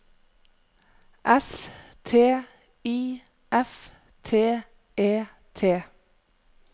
S T I F T E T